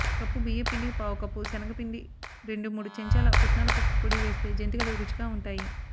cup బియ్యప్పిండికి పావుకప్పు సెనగపిండి రెండు మూడు చెంచాల పుట్నాలపప్పు పొడి వేస్తే జంతికలు రుచిగా ఉంటాయి